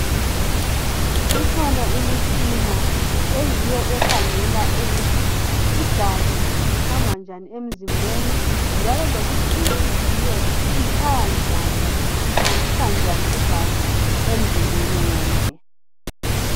Ikhona imitshina eyiyo ekhangela ukuthi igazi lihamba njani emzimbeni njalo lokuthi inhliziyo itshaya njani, ihambisa njani igazi emzimbeni wonke.